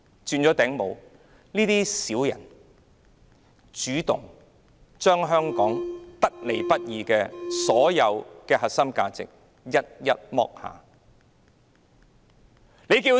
這些小人主動將香港得來不易的核心價值一一拋棄。